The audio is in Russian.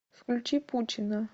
включи пучина